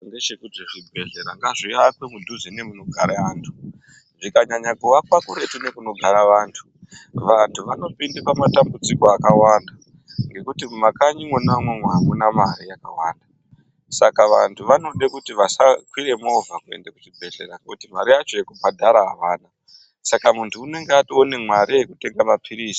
....ndechekuti zvibhehlera ngazvivakwe mudhuze nemunogara antu zvikananyanya kuakwa kuretu nekunogara antu. Vantu vanopinda pamatambudziko akawanda ngekuti mumakanyi imwona imwomwo hamuna mare yakawanda. Saka vantu vanode kuti vasakwire movha kuenda kuchibhehlera nekuti mare yacho yekubhadhara havana, saka muntu unenge otoona mare yekutenga maphirizi.